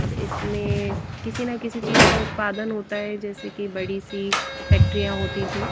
इसमें किसी ना किसी चीज का उत्पादन होता है जैसे कि बड़ी सी फैक्ट्रियां होती थी।